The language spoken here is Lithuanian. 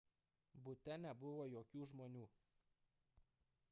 bute nebuvo jokių žmonių